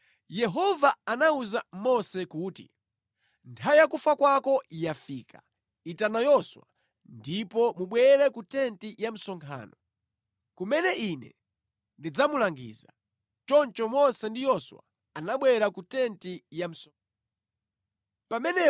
Yehova anawuza Mose kuti, “Nthawi ya kufa kwako yafika. Itana Yoswa ndipo mubwere ku tenti ya msonkhano, kumene Ine ndidzamulangiza.” Choncho Mose ndi Yoswa anabwera ku tenti ya msonkhano.